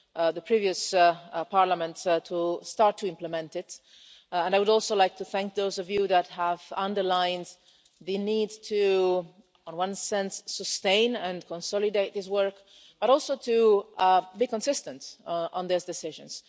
the previous Parliament to start to implement it. I would also like to thank those of you that have underlined the need to, in one sense, sustain and consolidate this work, but also to be consistent on those decisions.